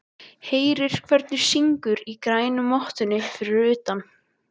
Heyrir hvernig syngur í grænu mottunni fyrir utan dyrnar.